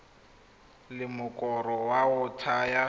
la mokoro wa go thaya